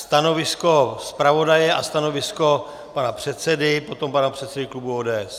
Stanovisko zpravodaje a stanovisko pana předsedy, potom pana předsedy klubu ODS.